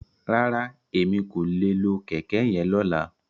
Rárá, Emi ko le lo kẹkẹ yen lola.